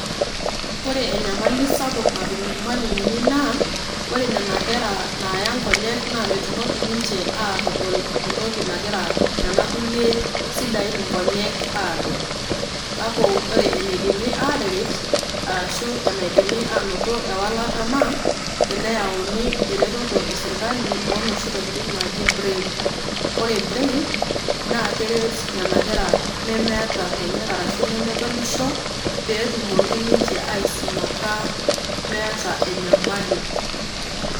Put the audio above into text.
Ore enyamali sapuk natum ilmwalimuni naa ore nena kera naayai inkonyek naa netumoki ninche aitodol entoki nagira aas Nena kulie sidain inkonyek adol. Kake ore eneikuni ataret, ashu enaidimi ainoto ewalata naa teneyauni eretoto e serkali o nooshi tokitin naaji braile. Ore braile naa keret Nena kera nemeeta inkonyek arashu nemedolisho pee etumoki ninche aisumata meata enyamali.